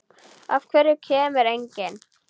Af hverju kemur enginn?